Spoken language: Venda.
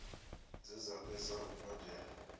dze dza fhedza u badela